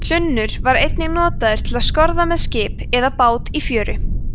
hlunnur var einnig notaður til að skorða með skip eða bát í fjöru